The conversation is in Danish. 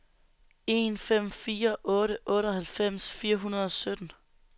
en fem fire otte otteoghalvfems fire hundrede og sytten